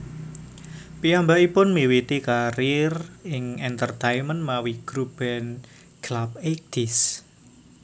Piyambakipun miwiti karier ing entertaimen mawi grup band Clubeighties